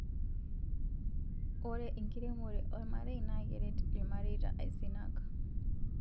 Ore enkiremore olmarei na keret ilmareta aisenak